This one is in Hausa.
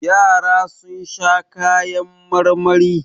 Yara sun sha kayan marmari.